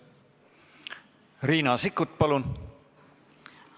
Riina Sikkut, palun!